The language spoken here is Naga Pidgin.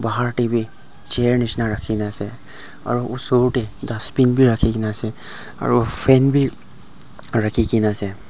bahar tae bi chair nishina rakhikena ase aro osor tae dustbin bi rakhikena ase aro fan bi rakhikena ase.